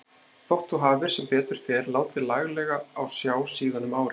Þótt þú hafir sem betur fer látið laglega á sjá síðan um árið.